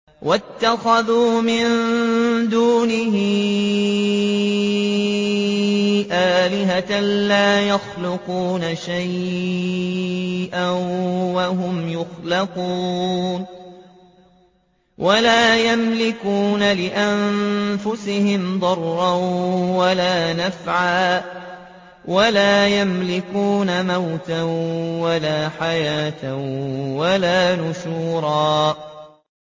وَاتَّخَذُوا مِن دُونِهِ آلِهَةً لَّا يَخْلُقُونَ شَيْئًا وَهُمْ يُخْلَقُونَ وَلَا يَمْلِكُونَ لِأَنفُسِهِمْ ضَرًّا وَلَا نَفْعًا وَلَا يَمْلِكُونَ مَوْتًا وَلَا حَيَاةً وَلَا نُشُورًا